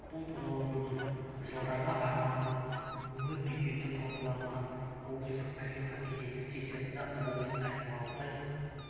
бұл туралы бүгін жылдарға арналған өңір бюджеті талқыланған облыстық мәслихаттың кезекті сессиясында облыс әкімі алтай